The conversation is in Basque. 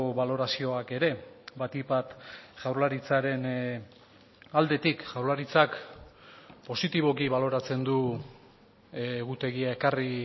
balorazioak ere batik bat jaurlaritzaren aldetik jaurlaritzak positiboki baloratzen du egutegia ekarri